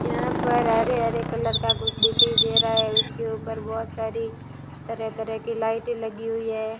यहां पर हरे-हरे कलर का कुछ दिखाई दे रहा है उसके ऊपर बहोत सारी तरह-तरह की लाइटें लगी हुई है।